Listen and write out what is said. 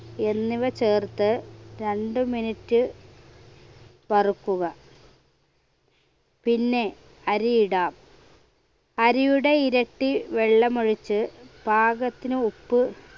എന്നിവ ചേർത്ത് രണ്ട് minute വറുക്കുക പിന്നെ അരിയിടാം അരിയുടെ ഇരട്ടി വെള്ളമൊഴിച്ച് പാകത്തിന് ഉപ്പ്